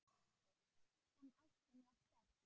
En ástin var sterk.